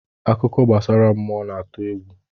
Akụkọ gbasara mmụọ na-atụ egwu.